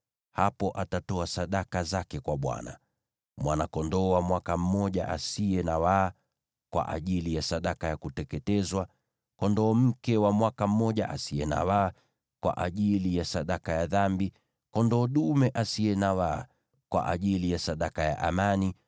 Hapo atatoa sadaka zake kwa Bwana : yaani, mwana-kondoo wa mwaka mmoja asiye na waa kwa ajili ya sadaka ya kuteketezwa, kondoo mke wa mwaka mmoja asiye na waa kwa ajili ya sadaka ya dhambi, kondoo dume asiye na waa kwa ajili ya sadaka ya amani,